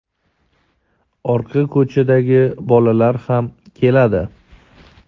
orqa ko‘chadagi bolalar ham keladi.